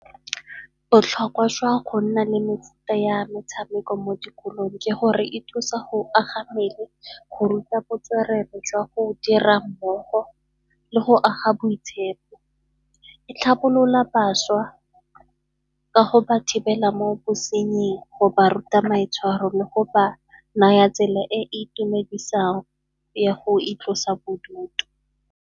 Botlhokwa jwa go nna le mefuta ya metshameko mo dikolong ke gore e thusa go aga mmele, go ruta botswerere jwa go dira mmogo le go aga boitshepo. E tlhabolola bašwa ka go ba thibela mo bosenying, go ba ruta maitshwaro le go ba naya tsela e e itumedisang ya go itlhalosa bodutu.